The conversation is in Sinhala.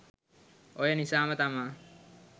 ඔය නිසාම තමා